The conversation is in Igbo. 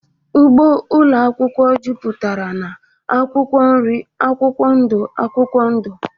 Ugbo ụlọ akwụkwọ juputara na akwụkwọ nri akwụkwọ ndụ akwụkwọ ndụ